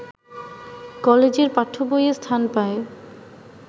কলেজের পাঠ্যবইয়ে স্থান পায়